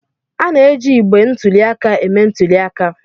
A na-eji igbe ntụli aka eme ntuli aka.